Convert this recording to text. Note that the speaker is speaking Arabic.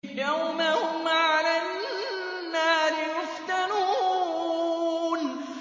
يَوْمَ هُمْ عَلَى النَّارِ يُفْتَنُونَ